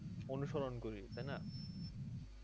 অনুসরণ করি তাইনা?